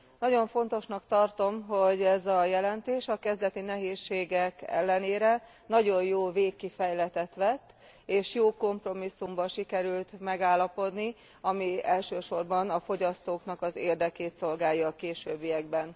Nagyon fontosnak tartom, hogy ez a jelentés a kezdeti nehézségek ellenre nagyon jó végkifejletet vett, és jó kompromisszumban sikerült megállapodni, ami elsősorban a fogyasztóknak az érdekét szolgálja a későbbiekben.